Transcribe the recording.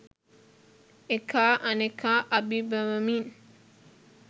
එකා අනෙකා අභිබවමින්